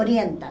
Orientam.